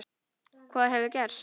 Hvað hefur gerst?